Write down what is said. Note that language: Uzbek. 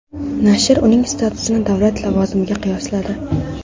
Nashr uning statusini davlat lavozimiga qiyosladi.